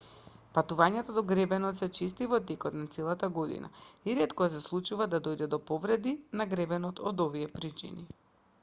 патувањата до гребенот се чести во текот на целата година и ретко се случува да дојде до повреди на гребенот од овие причини